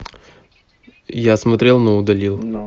я смотрел но удалил